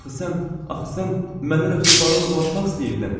Axı sən, axı sən məndən ötrü baronla danışmaq istəyirdin?